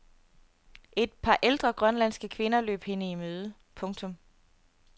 Et par ældre grønlandske kvinder løb hende i møde. punktum